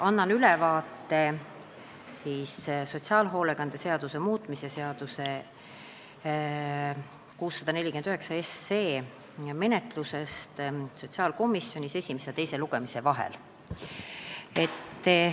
Annan ülevaate sotsiaalhoolekande seaduse muutmise seaduse eelnõu 649 menetlusest sotsiaalkomisjonis esimese ja teise lugemise vahel.